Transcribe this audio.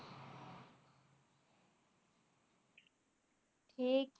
ਠੀਕ